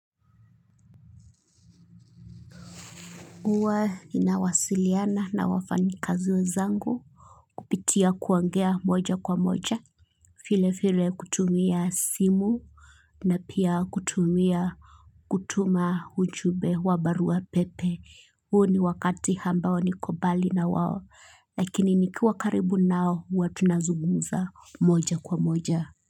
Huwa ninawasiliana na wafanyikazi wenzangu, kupitia kuongea moja kwa moja, vile vile kutumia simu, na pia kutumia kutuma ujumbe wa barua pepe, huu ni wakati ambao niko mbali na wao, lakini nikiwa karibu nao huwa tunazungumza moja kwa moja.